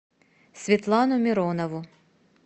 светлану миронову